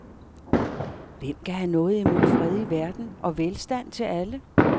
Hvem kan have noget imod fred i verden og velstand til alle?